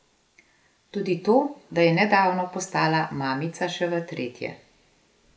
Tudi to, da je nedavno postala mamica še v tretje.